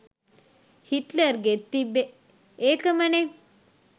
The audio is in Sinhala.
හිට්ලර්ගෙත් තිබ්බෙ ඒකමනෙ